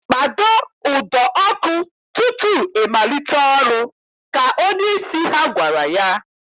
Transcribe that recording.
Kpado ụdọ ọkụ tutu I malite ọrụ! Ka onyeisi ha gwara ya